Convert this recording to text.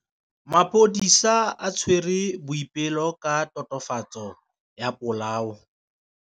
Maphodisa a tshwere Boipelo ka tatofatsô ya polaô.